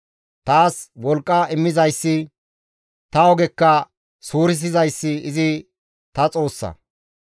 Taas wolqqa immizayssi, ta ogekka suurisizayssi izi ta Xoossa.